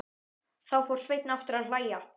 Þá fór Sveinn aftur að hlæja.